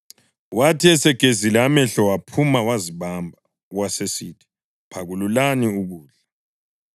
Wathi esegezile amehlo waphuma, wazibamba, wasesithi, “Phakululani ukudla.”